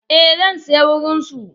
Eh zan saya wurin su.